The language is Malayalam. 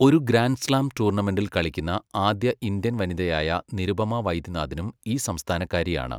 ഒരു ഗ്രാൻഡ് സ്ലാം ടൂർണമെന്റിൽ കളിക്കുന്ന ആദ്യ ഇന്ത്യൻ വനിതയായ നിരുപമ വൈദ്യനാഥനും ഈ സംസ്ഥാനക്കാരിയാണ്.